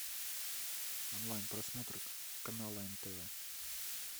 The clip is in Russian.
онлайн просмотр канала нтв